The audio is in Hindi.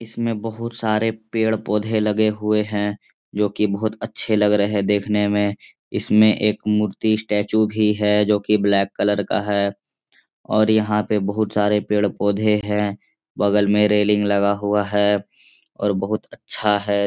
इसमें बहुत सारे पेड़-पोधे लगे हुए हैं जोकि बहुत अच्छे लग रहे देखने में। इसमें एक मूर्ति स्टेचु भी है जोकि ब्लैक कलर का है और यहाँ पे बोहुत सारे पेड़-पोधे हैं। बगल में रेलिंग लगा हुआ है और बोहुत अच्छा है।